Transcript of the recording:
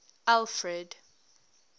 alfred